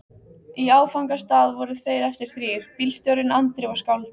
Í áfangastað voru þeir eftir þrír: bílstjórinn, Andri og skáldið.